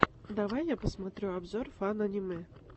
давай я посмотрю обзор фан аниме